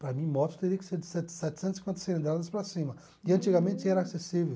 Para mim moto teria que ser de setecen setecentas e cinquenta cilindradas para cima e antigamente era acessível.